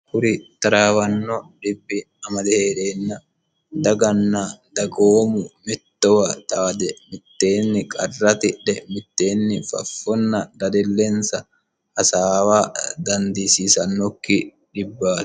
kuri taraawanno dhibbi amade heereenna daganna dagoomu mittowa xaade mitteenni qarra tidhe mitteenni faffonna dadelleensa hasaawa dandiisiisannokki dhibbaati